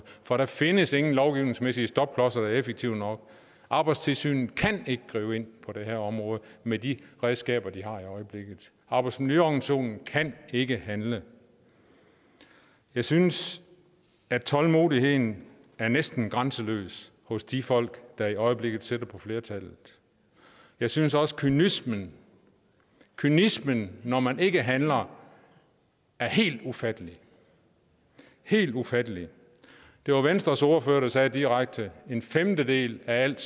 for der findes ingen lovgivningsmæssige stopklodser der er effektive nok arbejdstilsynet kan ikke gribe ind på det her område med de redskaber de har i øjeblikket arbejdsmiljøorganisationen kan ikke handle jeg synes at tålmodigheden næsten er grænseløs hos de folk der i øjeblikket sidder på flertallet jeg synes også kynismen kynismen når man ikke handler er helt ufattelig helt ufattelig det var venstres ordfører der sagde direkte at en femtedel af al